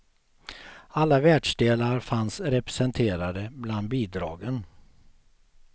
Alla världsdelar fanns representerade bland bidragen.